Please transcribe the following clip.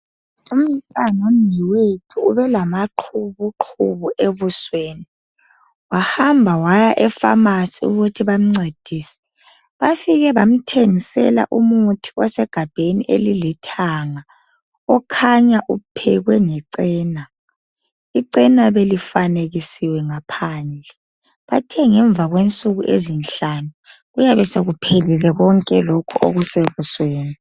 Umntanomnewethu ubelamaqhubuqhubu ebusweni. Wahamba waya e-pharmacy ukuthi bamncedise. Bafike bamthengisela umuthi osegabheni elilithanga, okhanya uphekwe nge cena. Icena belifanekisiwe ngaphandle. Bathe ngemva kwensuku ezinhlanu, kuyabe sekuphelile konke lokhu okusebusweni.